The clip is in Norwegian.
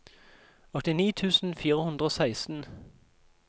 åttini tusen fire hundre og seksten